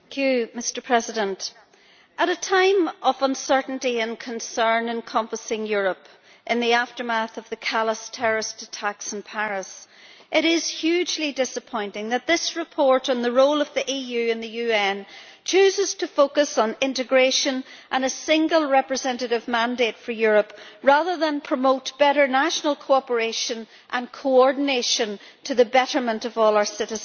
Mr President, at a time of uncertainty and concern encompassing Europe in the aftermath of the callous terrorist attacks in Paris, it is hugely disappointing that this report on the role of the EU and the UN chooses to focus on integration and a single representative mandate for Europe rather than promote better national cooperation and coordination to the betterment of all our citizens.